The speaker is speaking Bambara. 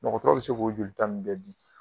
Dɔgɔtɔrɔ bɛ se k'o jolita ninnu bɛɛ di